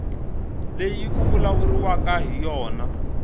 leyi ku vulavuriwaka hi yona